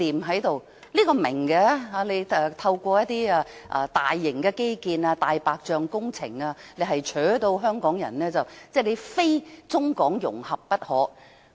這一點我明白，政府是要透過大型基建及"大白象"工程迫使香港人非中港融合不可。